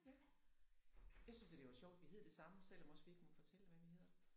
Ja jeg synes da det var sjovt vi hed det sammen selvom også vi ikke må fortælle hvad vi hedder